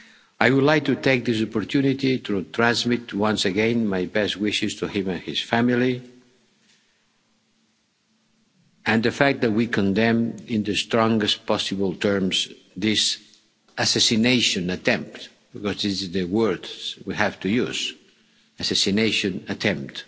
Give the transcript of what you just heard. all of us. I would like to take this opportunity to transmit, once again, my best wishes to him and his family, and the fact that we condemn in the strongest possible terms this assassination attempt. Because this is the word we have to use assassination